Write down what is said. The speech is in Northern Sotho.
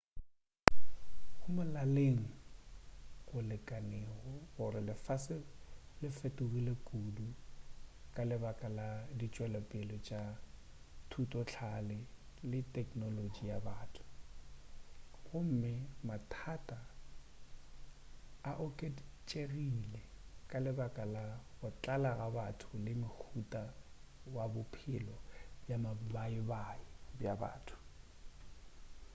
go molaleng go lekanego gore lefase le fetogile kudu ka lebaka la ditšwelopele tša thutohlale le teknolotši ya batho gomme mathata a oketšegile ka lebaka la go tlala ga batho le mohuta wa bophelelo bja mabaibai bja motho